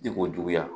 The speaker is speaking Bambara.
Ji ko juguya